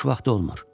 Boş vaxtı olmur.